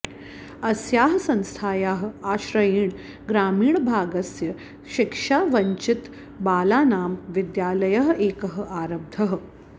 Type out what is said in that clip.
अस्याः संस्थायाः आश्रयेण ग्रामीणभागस्य शिक्षावञ्चितबालानां विद्यालयः एकः आरब्धः